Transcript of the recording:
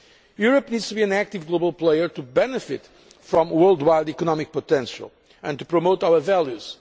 Europe needs to be an active global player to benefit from worldwide economic potential and to promote our